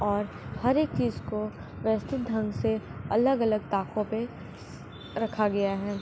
और हर एक चीज को व्यवस्थित ढंग से अलग-अलग ताकों पे रखा गया है।